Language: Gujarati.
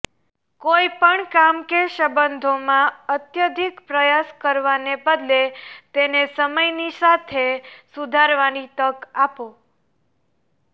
કોઈપણ કામ કે સંબંધોમાં અત્યધિક પ્રયાસ કરવાને બદલે તેને સમયની સાથે સુધરવાની તક આપો